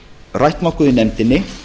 rætt nokkuð í nefndinni